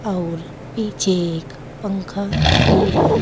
अउर पीछे एक पंखा भी है।